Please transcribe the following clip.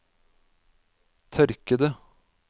tørkede